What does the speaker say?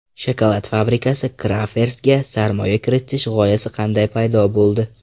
Shokolad fabrikasi [Crafers]ga sarmoya kiritish g‘oyasi qanday paydo bo‘ldi?